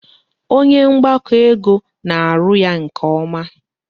Onye mgbakọ ego na-arụ ya nke ọma